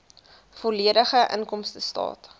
volledige inkomstestaat